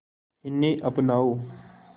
इन्हें अपनाओ